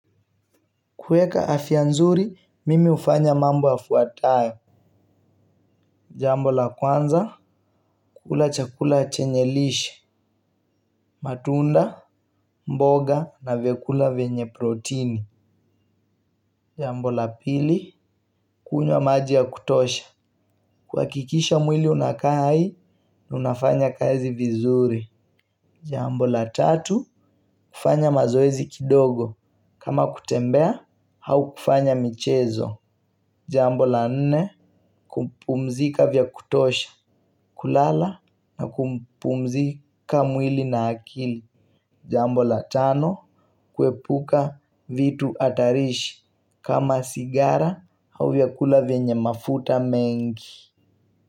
Kuweka afya nzuri, mimi hufanya mambo yafuatayo. Jambo la kwanza, kula chakula chenye lishe, matunda, mboga na vyakula venye protini. Jambo la pili, kunywa maji ya kutosha. Kuhakikisha mwili unakaa hai, na unafanya kazi vizuri. Jambo la tatu, kufanya mazoezi kidogo. Kama kutembea, au kufanya michezo. Jambo la nne, kupumzika vya kutosha. Kulala na kupumzika mwili na akili. Jambo la tano, kuepuka vitu hatarishi kama sigara au vyakula venye mafuta mengi.